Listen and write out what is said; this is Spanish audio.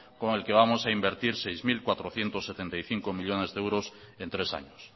con el que vamos a invertir seis mil cuatrocientos setenta y cinco millónes de euros en tres años